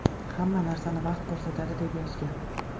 Hamma narsani vaqt ko‘rsatadi”, – deb yozgan.